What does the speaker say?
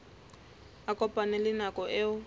a kopane le nako eo